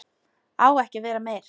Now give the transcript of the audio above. Á ekki að vera meir.